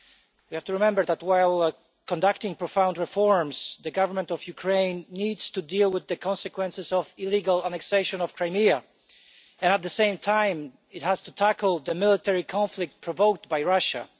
You have to remember that, while conducting profound reforms, the Government of Ukraine needs to deal with the consequences of the illegal annexation of Crimea and, at the same time, has to tackle the military conflict provoked by Russia.